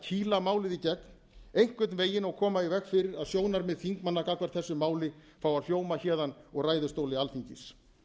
efla málið í gegn einhvern veginn og koma í veg fyrir að sjónarmið þingmanna gagnvart þessu máli fái að hljóma héðan úr ræðustóli alþingis